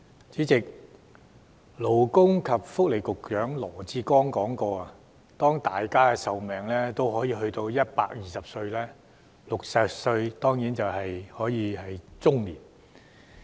主席，勞工及福利局局長羅致光說過，當大家的壽命都有120歲時 ，60 歲只是中年。